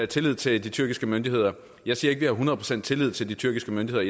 tillid til de tyrkiske myndigheder jeg siger hundrede procent tillid til de tyrkiske myndigheder